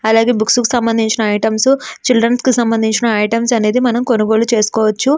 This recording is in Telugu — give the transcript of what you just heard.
అలాగే బుక్స్ కి సంబంధించిన ఐటమ్స్ చైల్డరన్స్ కి సంబంధించిన ఐటమ్స్ మనము కొనుగోలు చేసుకోవచ్చు.